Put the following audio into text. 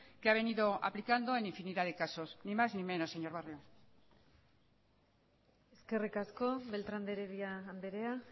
que ha venido aplicando en infinidad de casos ni más ni menos señor barrio eskerrik asko beltrán de heredia andrea